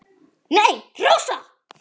Nei, Rósa.